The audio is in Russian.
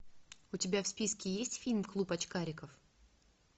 у тебя в списке есть фильм клуб очкариков